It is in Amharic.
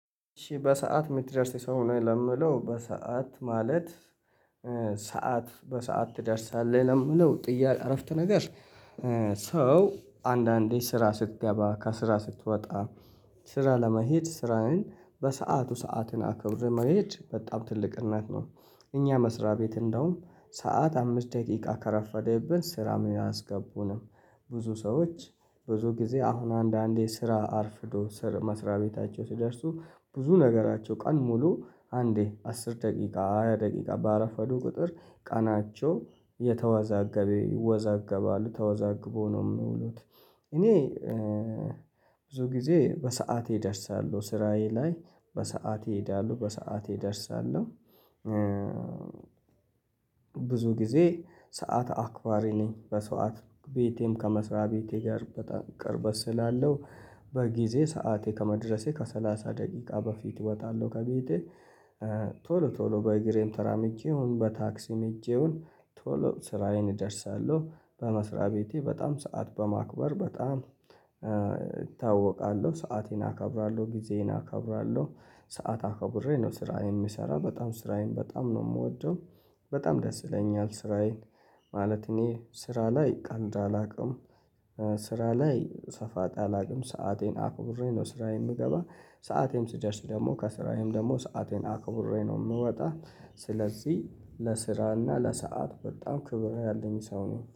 እሺ በሰአት የምትደርስ ሰው ነህ? ለምለው በሰአት ማለት ሰዓት፤ በሰአት ትደርሳለህ ለምለው ጥያ፣ አረፍት ነገር ሰው አንዳንዴ ስራ ስትገባ፣ ከስራ ስትወጣ፣ ስራ ለመሄድ ስራህን በሰአቱ፣ ሰዓትን አክብር መሄድ በጣም ትልቅነት ነው። እኛ መስሪያ ቤት እንደውም ሰዓት አምስት ደቂቃ ከረፈደብን ስራም አያስገቡንም። ብዙ ሰዎች ብዙ ጊዜ አሁን አንዳንዴ ስራ አርፍዶ ስር፣ መስሪያ ቤታቸው ሲደርሱ ብዙ ነገራቸው፤ ቀን ሙሉ አንዴ አስር ደቂቃ፤ ሃያ ደቂቃ በአረፍ ወዶ ቁጥር ቀናቸው የተዋዛገበ፣ ይወዛገባሉ፤ ተወዛግቦ ነው የምውሉት። እኔ ብዙ ጊዜ በሰአቴ እደርሳለሁ፣ ስራዬ ላይ በሰአቴ እሄዳለሁ፣ በሰአቴ እደርሳለሁ። ብዙ ጊዜ ሰዓት አክባሪ ነኝ። በሰአት፣ ቤቴም ከመስሪያ ቤቴ ጋር በጣም ቅርበት ስላለው በጊዜ ሰዓቴ ከመድረሴ ከሰላሳ ደቂቃ በፊት እወጣለሁ ከቤቴ። ቶሎ፣ ቶሎ በእግሬም ተራምጄ ይሁን፣ በታክሲም ሄጄ ይሁን ቶሎ ስራዬን እደርሳለሁ። በመስሪያ ቤቴ በጣም ሰዓት በማክበር በጣም እታወቃለሁ። ሰአቴን አከብራለሁ፣ ጊዜዬን አከብራለሁ። ሰዓት አከብሬ ነው ስራዬን የሚሰራ፣ በጣም ስራዬን በጣም ነው የምወደው። በጣም ደስ ይለኛል ስራዬን፣ ማለት እኔ ስራ ላይ ቀልድ አላውቅም። ስራ ላይ ሰፋጣ አላውቅም። ሰአቴን አክቡሬ ነው ስራዬን የምገባ፤ ሰዓቴም ስደርስ ደግሞ ከስራዬም ደግሞ ሰአቴን አክብሬ ነው የምወጣው። ስለዚህ ለስራና ለሰአት በጣም ክብር ያለኝ ሰው ነው።